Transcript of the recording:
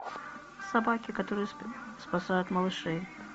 собаки которые спасают малышей